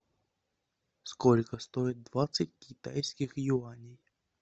сколько стоит двадцать китайских юаней